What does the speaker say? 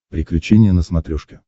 приключения на смотрешке